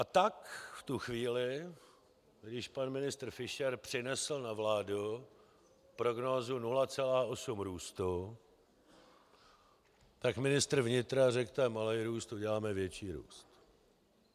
A tak v tu chvíli, když pan ministr Fischer přinesl na vládu prognózu 0,8 růstu, tak ministr vnitra řekl, to je malý růst, uděláme větší růst.